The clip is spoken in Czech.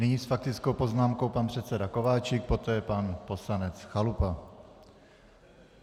Nyní s faktickou poznámkou pan předseda Kováčik, poté pan poslanec Chalupa.